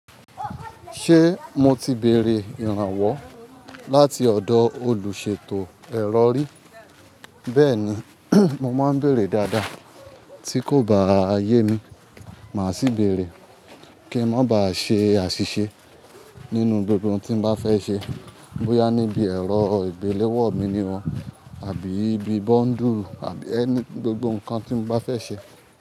Ṣé mo ti bèrè ìrànwọ́ láti ọ̀dọ̀ olùṣètò ẹ̀rọ rí? Bẹ́ẹ̀ni, mo máa ń bèrè dáadáa tí kò bá yé mi, màá sì bèrè kí n má bà ṣe àṣìṣe nínú gbogbo ohun tí mo bá fẹ́ ṣe, bóyá níbi ẹ̀rọ ìgbéléwọ́ mi ni o, àbí bíi bóńdù àbí any, gbogbo nǹkan tí mo bá fẹ́ ṣe.